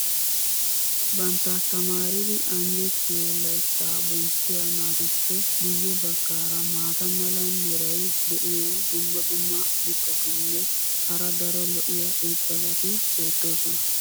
bantta tamaaridi anjjetiyo layttaa boncchiya naatuppe guye bagaara maata mala meray diyo dumma dumma mitatinne hara daro lo'iya irxxabati beetoosona.